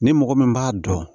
Ni mɔgɔ min b'a dɔn